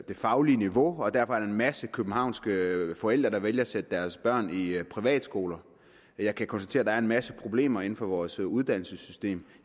faglige niveau og derfor er der en masse københavnske forældre der vælger at sætte deres børn i privatskole jeg kan konstatere er en masse problemer i vores uddannelsessystem